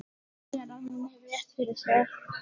Sér að hann hefur rétt fyrir sér.